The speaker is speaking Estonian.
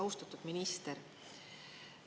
Austatud minister!